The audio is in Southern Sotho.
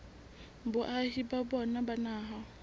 boahi ba bona ba naha